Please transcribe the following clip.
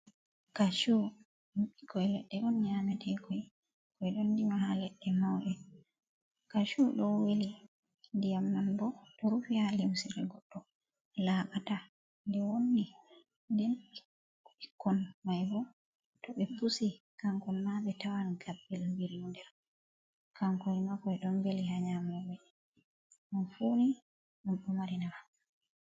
Kacu ɗum ɓikkoi leɗɗe on nyamete koi, ɓe ɗo rima ha leɗɗe mauɗe. kachu ɗo weli ndiyam man bo ɗo rufi ha limsire goɗdo laaɓata de wonni, den ɓikkon mai bo to ɓe pusi kan kon ma ɓe tawan gaɓɓel biri hon ha nder, kankoi ma kon ɗon beli ha nyamoɓe, ɗum funi ɗum ɗo mari nafu.